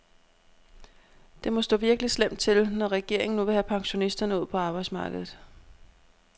Det må stå virkelig slemt til, når regeringen nu vil have pensionisterne ud på arbejdsmarkedet.